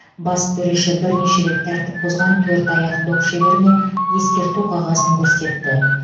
бас төреші бірнеше рет тәртіп бұзған төрт аяқ доп шеберіне ескерту қағазын көрсетті